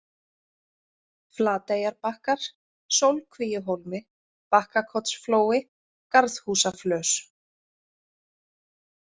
Flateyjarbakkar, Sólkvíuhólmi, Bakkakotsflói, Garðhúsaflös